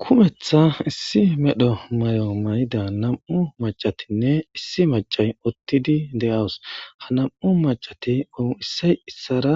Kumeththa issi medho mayo mayidanne nam7u maccatinne issi maccay uttidi de7awus. Ha nam7u macccati issoy issuwara